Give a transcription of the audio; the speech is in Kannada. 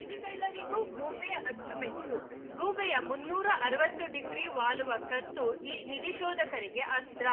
ನಿಧಿಗಳ್ಳರಿಗೂ ಗೂಬೆ ಅಚ್ಚುಮೆಚ್ಚು ಗೂಬೆಯ ಮುನ್ನೂರ ಅರವತ್ತು ಡಿಗ್ರಿ ವಾಲುವ ಕತ್ತು ಈ ನಿಧಿ ಶೋಧಕರಿಗೆ ಅಸ್ತ್ರ